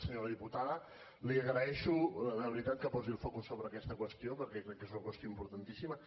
senyora diputada li agraeixo de veritat que posi el focus sobre aquesta qüestió perquè crec que és una qüestió importantíssima